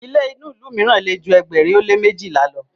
ilé inu ilú míràn lè jù ẹgbẹrin o le mejila ló